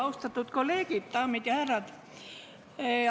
Austatud kolleegid, daamid ja härrad!